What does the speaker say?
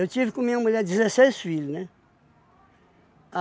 tive com minha mulher dezesseis filhos, né?